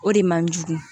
O de man jugu